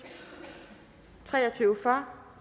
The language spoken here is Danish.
for